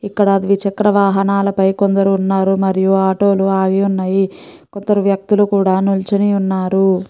ఇక్కడ ద్విచక్ర వాహనాలు పై కొందరు ఉన్నారు మరియు ఆటో లు ఆగి ఉన్నాయి కొందరు వ్యక్తులు కూడా నించుని ఉన్నారు.